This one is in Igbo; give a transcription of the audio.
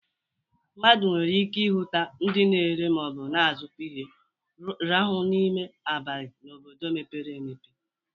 Mmadụ nwere ike ịhụta ndị na-ere ma na-azụkwa ihe rue n'ime abali n'obodo mepere emepe.